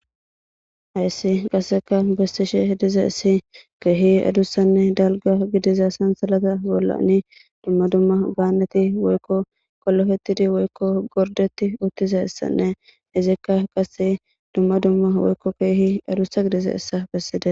Hayssi qassekka besishe dizayssi keehi adussanne dalgga gidiza sansalatani bollani dumma dumma gaaneti wokko qolapetidi woykko gorddetidi uttidayssanne izikka qasse dumma dumma woykko keehi adussa gidizayssa besidees.